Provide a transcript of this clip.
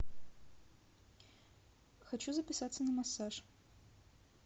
хочу записаться на массаж